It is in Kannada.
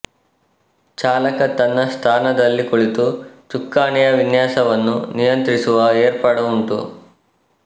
ಚಾಲಕ ತನ್ನ ಸ್ಥಾನದಲ್ಲಿ ಕುಳಿತು ಚುಕ್ಕಾಣಿಯ ವಿನ್ಯಾಸವನ್ನು ನಿಯಂತ್ರಿಸುವ ಏರ್ಪಾಡು ಉಂಟು